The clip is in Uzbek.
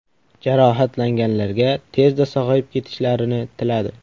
Jarohatlanganlarga tezda sog‘ayib ketishlarini tiladi.